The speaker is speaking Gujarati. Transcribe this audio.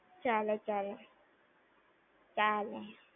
ચાલે. ચાલે ત્યારે.